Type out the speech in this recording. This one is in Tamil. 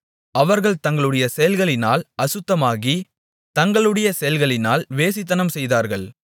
அவர்கள் தங்களுடைய செயல்களினால் அசுத்தமாகி தங்களுடைய செயல்களினால் வேசித்தனம் செய்தார்கள்